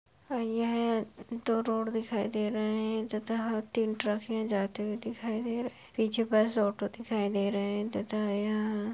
यह दो रोड दिखाई दे रहे हैं तथा तीन ट्रक है जाते हुए दिखाई दे रहे हैं पीछे बस ऑटो दिखाई दे रहे हैं तथा यहाँ --